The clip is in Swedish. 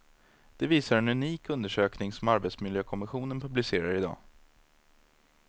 Det visar en unik undersökning som arbetsmiljökommissionen publicerar i dag.